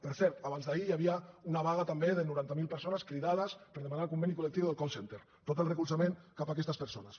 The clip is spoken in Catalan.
per cert abansd’ahir hi havia una vaga també de noranta mil persones cridades per demanar el conveni col·lectiu del call centre tot el recolzament cap a aquestes persones